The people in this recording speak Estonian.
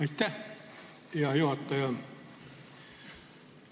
Aitäh, hea juhataja!